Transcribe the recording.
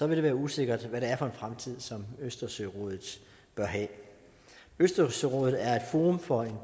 vil det være usikkert hvad det er for en fremtid østersørådet bør have østersørådet er et forum for